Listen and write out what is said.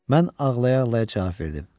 Mən ağlaya-ağlaya cavab verdim: